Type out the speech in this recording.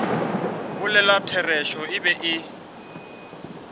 bolela therešo e be e